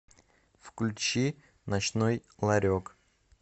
включи ночной ларек